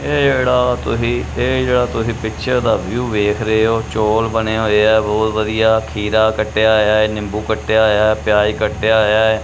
ਇਹ ਇੜਾ ਤੁਹੀ ਇਹ ਜਿਹੜਾ ਤੁਹੀ ਪਿੱਛੇ ਦਾ ਵਿਊ ਵੇਖ ਰਹੇ ਹੋ ਚੋਲ ਬਣੇ ਹੋਏ ਐ ਬਹੁਤ ਵਧੀਆ ਖੀਰਾ ਕੱਟਿਆ ਹੋਇਆ ਐ ਨਿੰਬੂ ਕੱਟਿਆ ਹੋਇਆ ਐ ਪਿਆਜ ਕੱਟਿਆ ਹੋਇਆ ਐ।